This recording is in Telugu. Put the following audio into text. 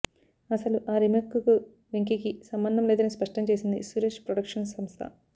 అసలు ఆ రీమేక్ కు వెంకీకి సంబంధం లేదని స్పష్టంచేసింది సురేష్ ప్రొడక్షన్స్ సంస్థ